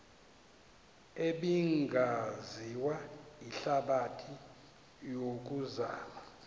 ebingaziwa lihlabathi yokuzama